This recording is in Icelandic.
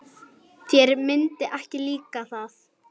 Þér myndi ekki líka það.